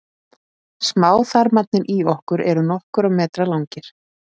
smáþarmarnir í okkur eru nokkurra metra langir